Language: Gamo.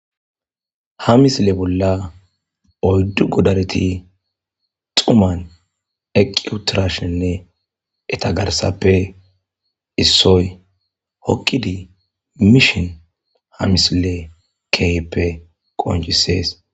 Ha misile bolla oyddu godareti dhumason eqi utadishine etape issoyi hokidi mishe betes.